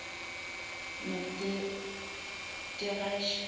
notirashe